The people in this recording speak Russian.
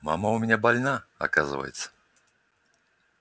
мама у меня больна оказывается